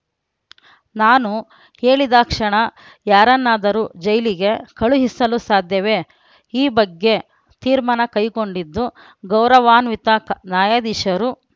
ನಾನು ಹೇಳಿದಾಕ್ಷಣ ಯಾರನ್ನಾದರೂ ಜೈಲಿಗೆ ಕಳುಹಿಸಲು ಸಾಧ್ಯವೇ ಈ ಬಗ್ಗೆ ತೀರ್ಮಾನ ಕೈಗೊಂಡಿದ್ದು ಗೌರವಾನ್ ವಿತಾಕ್ ನ್ಯಾಯಾಧೀಶರು